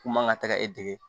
K'u man ka taga e dege